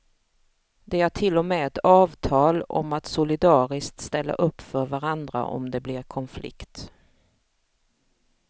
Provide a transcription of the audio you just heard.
De har till och med ett avtal om att solidariskt ställa upp för varandra om det blir konflikt.